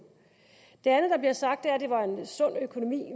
det sagt er at det var en sund økonomi